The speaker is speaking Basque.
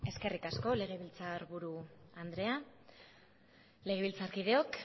eskerrik asko legebiltzarburu andrea legebiltzarkideok